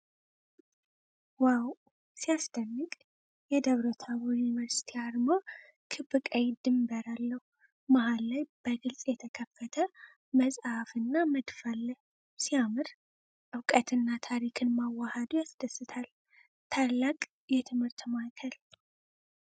ዋው! ሲያስደንቅ! የደብረ ታቦር ዩኒቨርሲቲ አርማ ክብ ቀይ ድንበር አለው። መሃል ላይ በግልጽ የተከፈተ መጽሐፍና መድፍ አለ። ሲያምር! እውቀትና ታሪክን ማዋሀዱ ያስደስታል። ታላቅ የትምህርት ማዕከል!